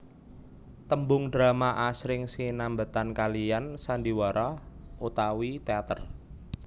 Tembung drama asring sinambetan kaliyan Sandiwara utawi teater